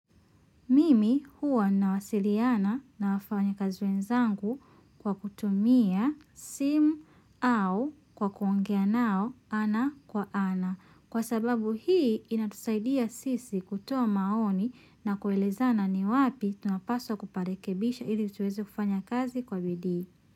Mimi huwa nawasiliana na wafanyakazi wenzangu kwa kutumia simu au kwa kuongea nao ana kwa ana. Kwa sababu hii inatusaidia sisi kutoa maoni na kuelezana ni wapi tunapaswa kuparekebisha ili tuwezo kufanya kazi kwa bidii.